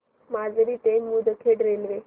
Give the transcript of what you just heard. माजरी ते मुदखेड रेल्वे